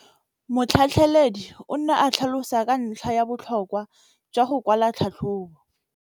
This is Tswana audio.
Motlhatlheledi o ne a tlhalosa ka ntlha ya botlhokwa jwa go kwala tlhatlhôbô.